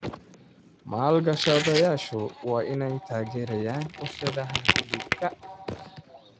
Maalgashadayaashu waa inay taageeraan warshadaha hilibka.